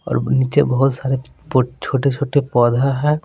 और नीचे बहुत सारे छोटे छोटे पौधा है।